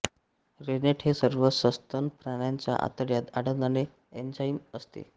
rennet हे सर्व सस्तन प्राण्यांच्या आतड्यात आढळणारे एन्झाइम असते